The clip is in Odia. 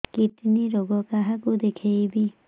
କିଡ଼ନୀ ରୋଗ କାହାକୁ ଦେଖେଇବି